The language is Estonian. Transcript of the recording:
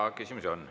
Ja küsimusi on.